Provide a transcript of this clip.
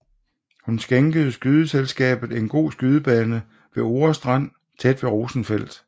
Hun skænkede skydeselskabet en god skydebane ved Ore Strand tæt ved Rosenfeldt